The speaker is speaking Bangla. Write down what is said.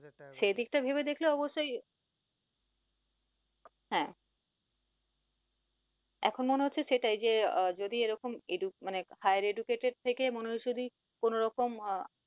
সে দিক টা ভেবে দেখলে অবশ্যই হ্যাঁ এখন মনে হচ্ছে সেটাই যে যদি এরকম মানে higher educated থেকে কোন রকম আহ